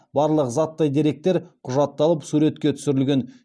барлық заттай деректер құжатталып суретке түсірілген